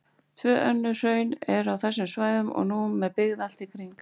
Tvö önnur hraun eru á þessum svæðum og nú með byggð allt í kring.